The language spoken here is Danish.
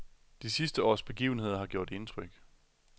De sidste års begivenheder har gjort indtryk.